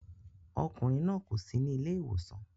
Ọkùnrin náà kò sí ní ilé ìwòsàn